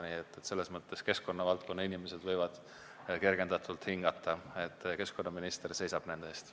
Nii et selles mõttes võivad keskkonnavaldkonna inimesed kergendatult hingata – keskkonnaminister seisab nende eest.